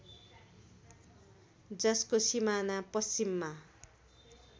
जसको सिमाना पश्चिममा